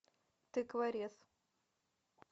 тыкворез